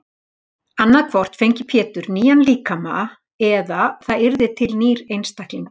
Annað hvort fengi Pétur nýjan líkama eða það yrði til nýr einstaklingur.